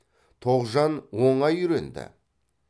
тоғжан оңай үйренді